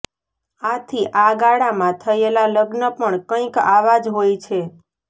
આથી આ ગાળામાં થયેલા લગ્ન પણ કંઈક આવા જ હોય છે